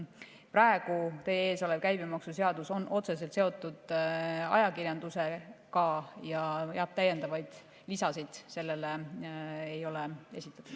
Praegu teie ees olev käibemaksuseadus on otseselt seotud ajakirjandusega ja täiendavaid lisasid sellele ei ole esitatud.